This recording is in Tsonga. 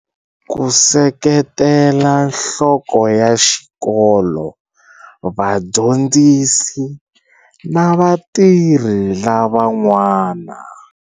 Ku seketela nhloko ya xikolo, vadyondzisi na vatirhi lavan'wana.